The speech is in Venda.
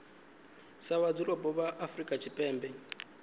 sa vhadzulapo vha afrika tshipembe